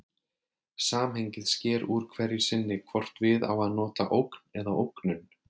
Samhengið sker úr hverju sinni hvort við á að nota ógn eða ógnun.